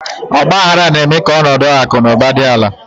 Ọgbaaghara na-eme ka ọnọdụ akụ na ụba dị ala.